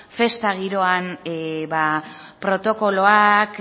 festa giroan protokoloak